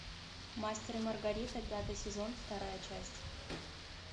мастер и маргарита пятый сезон вторая часть